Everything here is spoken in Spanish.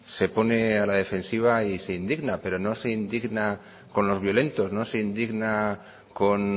se pone a la defensiva y se indigna pero no se indigna con los violentos no se indigna con